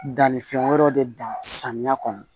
Dannifɛn wɛrɛ de da samiya kɔnɔ